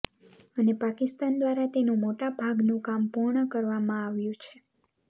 અને પાકિસ્તાન દ્વારા તેનુ મોટા ભાગનું કામ પૂર્ણ કરવામાં આવ્યુ છે